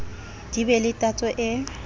di be le tatso e